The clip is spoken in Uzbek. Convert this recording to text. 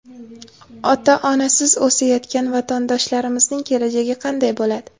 ota-onasiz o‘sayotgan vatandoshlarimizning kelajagi qanday bo‘ladi?